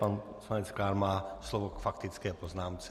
Pan poslanec Klán má slovo k faktické poznámce.